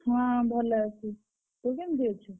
ହଁ ଭଲ ଅଛି। ତୁ କେମିତି ଅଛୁ?